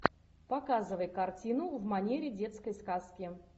показывай картину в манере детской сказки